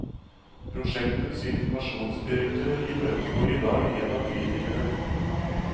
Prosjektets informasjonsdirektør imøtegår i dag en av kritikerne.